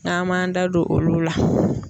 N'an m'an da don olu la.